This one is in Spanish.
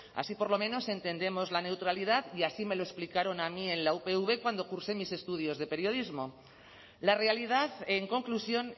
así por lo menos entendemos la neutralidad y así me lo explicaron a mí en la upv cuando cursé mis estudios de periodismo la realidad en conclusión